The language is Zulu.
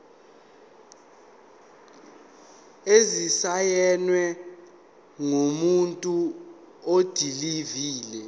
esisayinwe ngumuntu odilive